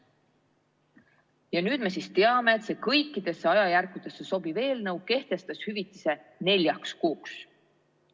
Ja nüüd me siis teame, et see kõikidesse ajajärkudesse sobiv eelnõu kehtestas hüvitise neljaks kuuks.